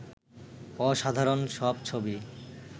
অসাধারণ সব ছবি